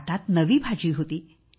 ताटात नवी भाजी होती